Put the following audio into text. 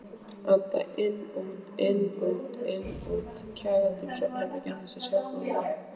Anda inn-út-inn-út-inn-út, kjagandi um svefnherbergið án þess að sjá glóru.